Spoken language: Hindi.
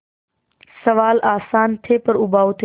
सवाल आसान थे पर उबाऊ थे